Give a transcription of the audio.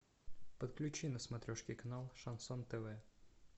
подключи на смотрешке канал шансон тв